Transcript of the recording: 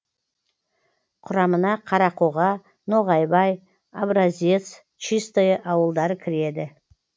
құрамына қарақоға ноғайбай образец чистое ауылдары кіреді